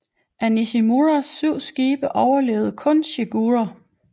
Af Nishimuras syv skibe overlevede kun Shigure